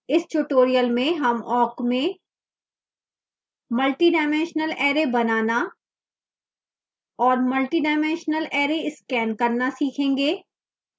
इस tutorial में हम awk में multidimensional array बनाना और multidimensional array स्कैन करना सीखेंगे